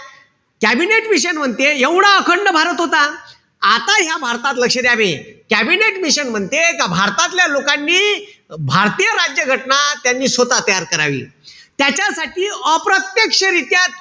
Cabinet mission म्हणते, एवढा अखंड भारत होता. आता या भारतात लक्ष द्या बे. कॅबिनेट मिशन म्हणते का भारतातल्या लोकांनी भारतीय राज्य घटना, त्यांनी स्वतः तयार करावी. त्याच्यासाठी, अप्रत्यक्षरित्या,